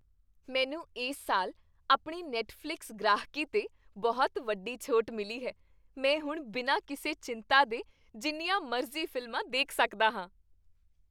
ਮੈਨੂੰ ਇਸ ਸਾਲ ਆਪਣੀ ਨੈੱਟਫ਼ਲਿਕਸ ਗ੍ਰਾਹਕੀ 'ਤੇ ਬਹੁਤ ਵੱਡੀ ਛੋਟ ਮਿਲੀ ਹੈ। ਮੈਂ ਹੁਣ ਬਿਨਾਂ ਕਿਸੇ ਚਿੰਤਾ ਦੇ ਜਿੰਨੀਆਂ ਮਰਜ਼ੀ ਫ਼ਿਲਮਾਂ ਦੇਖ ਸਕਦਾ ਹਾਂ।